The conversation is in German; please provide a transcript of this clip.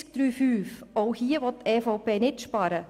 Zur Massnahme 44.3.5: Auch hier will die EVP nicht sparen.